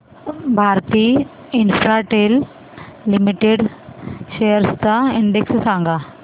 Bharti Infratel Limited shares चा index सांगा